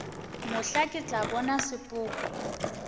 mohla ke tla bona sepoko